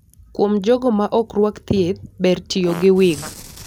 Kuom jogo ma ok rwak thieth, ber tiyo gi wig.